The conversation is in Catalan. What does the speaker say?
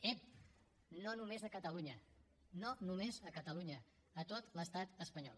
ep no només a catalunya no només a catalunya a tot l’estat espanyol